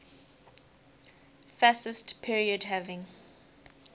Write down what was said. fascist period having